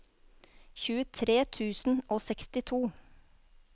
tjuetre tusen og sekstito